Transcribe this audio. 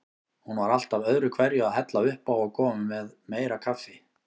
Hún var alltaf öðruhverju að hella uppá og koma með meira kaffi.